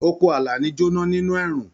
Oko Àlàní jona nínú ẹ̀rùn.